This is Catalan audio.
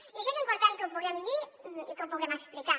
i això és important que ho puguem dir i que ho puguem explicar